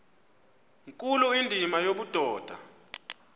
nkulu indima yobudoda